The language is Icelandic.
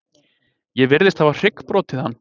Ég virðist hafa hryggbrotið hann.